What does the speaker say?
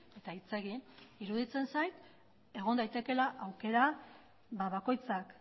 eta hitz egin iruditzen zait egon daitekeela aukera bakoitzak